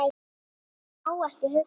Ég má ekki hugsa það.